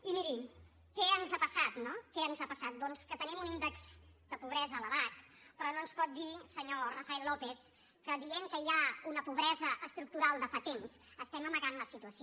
i miri què ens ha passat no què ens ha passat doncs que tenim un índex de pobresa elevat però no ens pot dir senyor rafael lópez que dient que hi ha una pobresa estructural de fa temps estem amagant la situació